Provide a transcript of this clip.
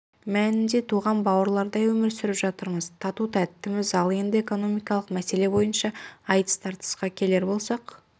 мәнінде туған бауырлардай өмір сүріп жатырмыз тату-тәттіміз ал енді экономикалық мәселе бойынша айтыс-тартысқа келер болсақ